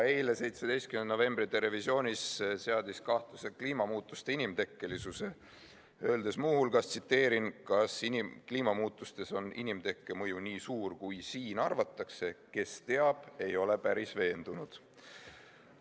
Eile, 17. novembril "Terevisioonis" seadis ta kahtluse alla kliimamuutuste inimtekkelisuse, öeldes muu hulgas: "Kas kliimamuutuses on inimtekke mõju nii suur, kui siin arvatakse, kes teab, ei ole päris veendunud.